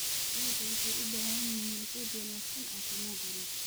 Digaaga waxay u baahan yihiin quud wanaagsan caafimaad wanaagsan.